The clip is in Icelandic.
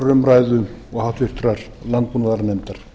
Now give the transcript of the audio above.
umræðu og háttvirtur landbúnaðarnefndar